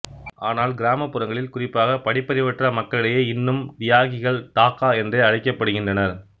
ஆனால் கிராமப்புறங்களில் குறிப்பாக படிப்பறிவற்ற மக்களிடையே இன்னும் டியாகிகள் டாகா என்றே அழைக்கப்படுகின்றனர்